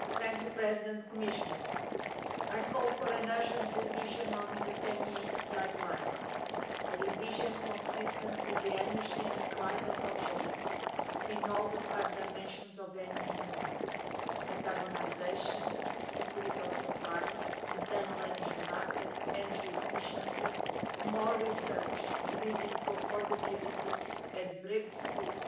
Mr President, Commissioner, I call for an urgent revision of the TEN E Guidelines a revision consistent with the energy and climate objectives in all the five dimensions of the Energy Union decarbonisation, security of supply, internal energy market, energy efficiency, more research leading to affordability and breakthroughs